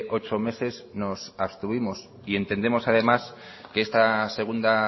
ocho meses nos abstuvimos entendemos además que esta segunda